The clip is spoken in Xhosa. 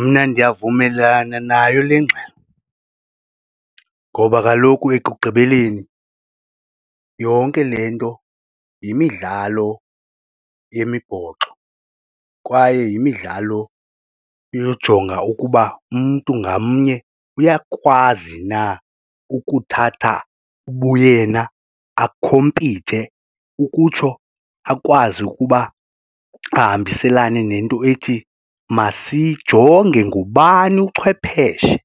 Mna ndiyavumelana nayo le ngxelo ngoba kaloku ekugqibeleni yonke le nto yimidlalo yemibhoxo kwaye yimidlalo yojonga ukuba umntu ngamnye uyakwazi na ukuthatha ubuyena akhompithe ukutsho akwazi ukuba ahambiselane nento ethi masijonge ngubani uchwepheshe,